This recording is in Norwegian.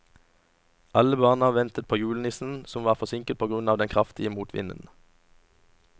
Alle barna ventet på julenissen, som var forsinket på grunn av den kraftige motvinden.